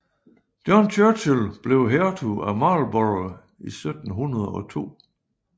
John Churchill blev hertug af Marlborough i 1702